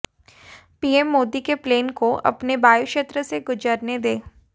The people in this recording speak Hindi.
पीएम मोदी के प्लेन को अपने वायुक्षेत्र से गुजरने दे